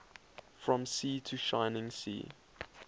from sea to shining sea